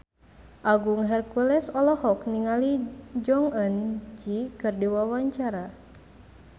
Agung Hercules olohok ningali Jong Eun Ji keur diwawancara